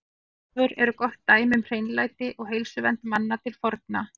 Baðstofur eru gott dæmi um hreinlæti og heilsuvernd manna til forna.